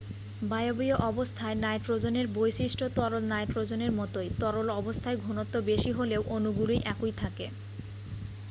বায়বীয় অবস্থায় নাইট্রোজেনের বৈশিষ্ট্য তরল নাইট্রোজেনের মতোই তরল অবস্থায় ঘনত্ব বেশি হলেও অণুগুলি একই থাকে